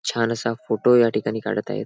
छान असा फोटो या ठिकाणी काडत आहेत.